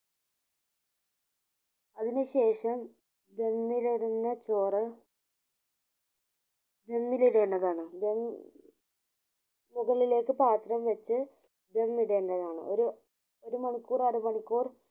അതിനു ശേഷം ദമ്മിൽ ഇടുന്ന ചോറ് ദമ്മിൽ ഇടേണ്ടതാണ് ദം മുകളിലേക്കു പാത്രം വെച്ച് ദം ഇടേണ്ടതാണ് ഒരു ഒരു മണിക്കൂർ അര മണിക്കൂർ